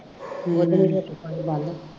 ਦੇ ਹੱਥੀਂ ਫੜੀ ਗੱਲ